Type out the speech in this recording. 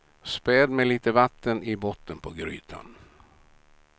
Späd med lite vatten i botten på grytan.